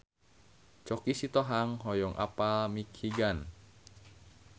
Choky Sitohang hoyong apal Michigan